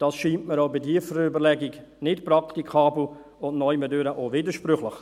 Dies scheint mir auch bei tiefer Überlegung nicht praktikabel und irgendwie auch widersprüchlich.